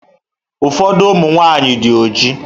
Ụfọdụ ụmụ nwaanyị dị ojii.